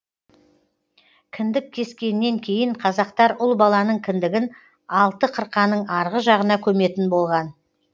кіндік кескеннен кейін қазақтар ұл баланың кіндігін алты қырқаның арғы жағына көметін болған